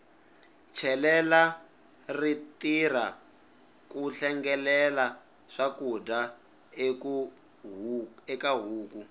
chelela ri tirha ku hlengelela swakudya eka huku